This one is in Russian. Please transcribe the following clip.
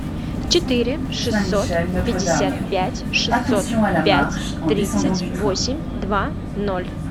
четыре шестьсот пятьдесят пять шестьсот пять тридцать восемь два ноль